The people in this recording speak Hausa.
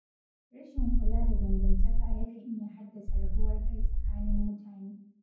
Rashin kula da dangantaka yakan iya haddasa rabuwar kai tsakanin mutane